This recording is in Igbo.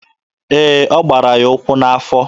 Ee, ọ gbara ya ụkwụ n'afọ.